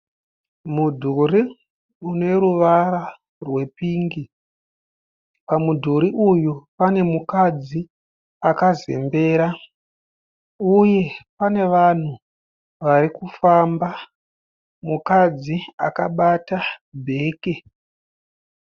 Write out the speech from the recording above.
Mudhuri une ruvara rwepingi, pamudhuri uyu pane mukadzi akazembera uye pane vanhu vari kufamba. Mukadzi akabata bheke.